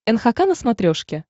нхк на смотрешке